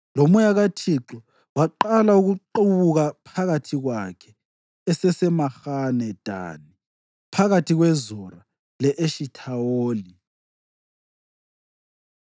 loMoya kaThixo waqala ukuqubuka phakathi kwakhe eseseMahane Dani, phakathi kweZora le-Eshithawoli.